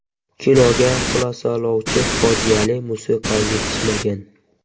Kinoga xulosalovchi fojiali musiqa yetishmagan.